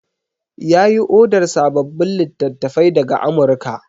Ya yi odar sababbin littattafai daga Amurka.